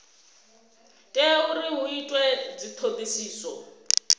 tea uri hu itwe dzithodisiso